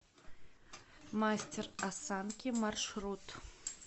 мастер осанки маршрут